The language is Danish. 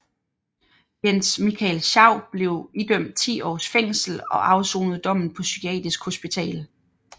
Jens Michael Schau blev idømt 10 års fængsel og afsonede dommen på psykiatrisk hospital